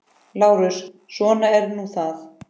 LÁRUS: Svo er nú það.